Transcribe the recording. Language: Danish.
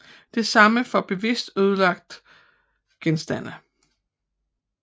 Det samme for bevidst ødelagte genstande